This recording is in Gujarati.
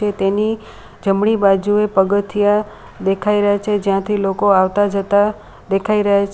તેની જમણી બાજુએ પગથિયાં દેખાઈ રહ્યા છે જ્યાંથી લોકો આવતા જતા દેખાઈ રહ્યા છે.